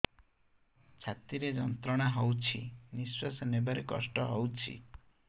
ଛାତି ରେ ଯନ୍ତ୍ରଣା ହଉଛି ନିଶ୍ୱାସ ନେବାରେ କଷ୍ଟ ହଉଛି